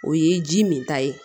O ye ji min ta ye